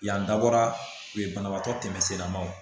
Yan dabɔra u ye banabaatɔ tɛmɛsiralamaw